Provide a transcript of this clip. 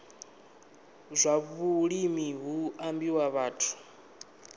zwa vhulimi hu ambiwa vhathu